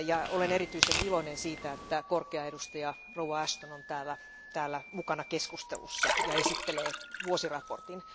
Olen erityisen iloinen siitä, että korkea edustaja Ashton on täällä mukana keskustelussa ja esittelee vuosiraportin.